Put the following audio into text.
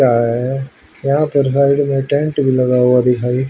क्या है यहां पर साइड में टेंट भी लगा हुआ दिखाई--